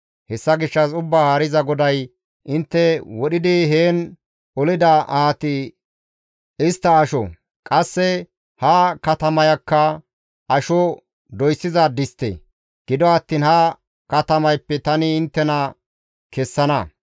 «Hessa gishshas Ubbaa Haariza GODAY, ‹Intte wodhidi heen olida ahati istta asho; qasse ha katamayakka asho doyssiza distte; gido attiin ha katamayppe tani inttena kessana.